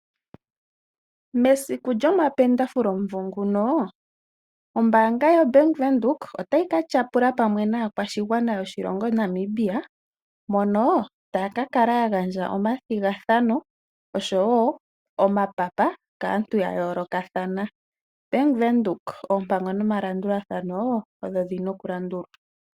Mesiku lyomapendafule omumvo nguno, ombaanga yaBank Windhoek otayi ka tyapula pamwe naakwashigwana yoshilongo Namibia mono taya ka kala ya gandja omathigathano oshowo omapapa kaantu ya yoolokathana. Bank Windhoek, oompango nomalandulathano ogo ge na okulandulwa.